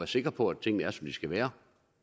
sikker på at tingene er som de skal være